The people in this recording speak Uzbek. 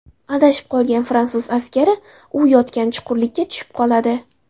Adashib qolgan fransuz askari u yotgan chuqurlikka tushib qoladi.